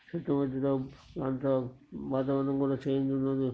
చుట్టూ వాతావరణం కూడా చేంజ్ ఉంటుంది.